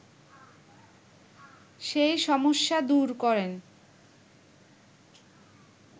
সেই সমস্যা দূর করেন